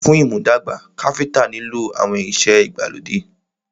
Fún ìmúdàgbà, Káfíntà nilo àwọn ìrìn ìṣe ìgbàlódé.